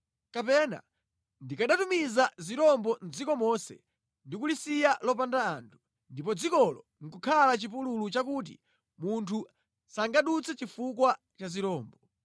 “Kapena ndikanatumiza zirombo mʼdziko monse ndi kulisiya lopanda anthu, ndipo dzikolo nʼkukhala chipululu chakuti munthu sangadutse chifukwa cha zirombo.